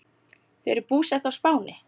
Þau eru búsett á Spáni.